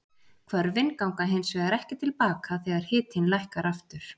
Hvörfin ganga hins vegar ekki til baka þegar hitinn lækkar aftur.